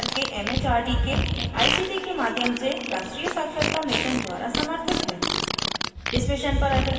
यह भारत सरकार के it it आर दी के आई सी टी के माध्यम से राष्ट्रीय साक्षरता mission द्वारा समर्थित है